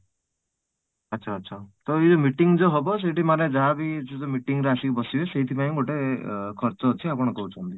ଆଚ୍ଛା ଆଚ୍ଛା ତ ୟେ meeting ଯୋଉ ହବ ସେଠି ମାନେ ଯାହା ବି ଯୋଉମାନେ meeting ରେ ଆସିକି ବସିବେ ସେଥିପାଇଁ ଗୋଟେ ଖର୍ଚ୍ଚ ଅଛି ଆପଣ କହୁଛନ୍ତି